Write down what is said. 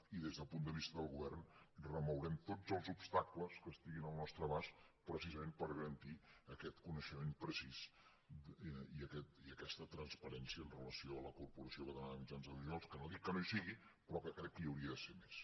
i des del punt de vista del govern remourem tots els obstacles que estiguin al nostre abast precisament per garantir aquest coneixement precís i aquesta transparència amb relació a la corporació catalana de mitjans audiovisuals que no dic que no hi sigui però que crec que hi hauria de ser més